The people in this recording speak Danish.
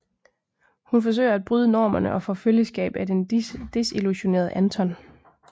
Hun forsøger at bryde normerne og får følgeskab af den desillusionerede Anton